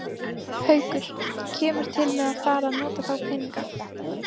Haukur: Kemur til með að fara að nota þá peninga?